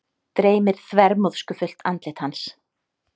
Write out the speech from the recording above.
Dreymir þvermóðskufullt andlit hans.